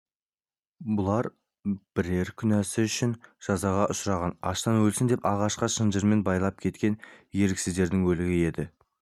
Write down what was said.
бұлар бірер кінәсі үшін жазаға ұшыраған аштан өлсін деп ағашқа шынжырмен байлап кеткен еріксіздердің өлігі еді